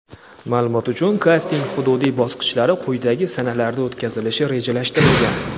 Ma’lumot uchun: kasting hududiy bosqichlari quyidagi sanalarda o‘tkazilishi rejalashtirilgan:.